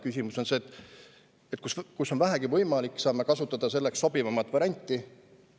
Küsimus on selles, et me peaksime saama seal, kus on vähegi võimalik, kasutada sobivamat varianti.